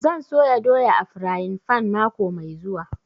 Zan soya doya a frayin fan mako mai zuwa